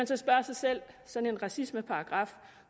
så spørge sig selv sådan en racismeparagraf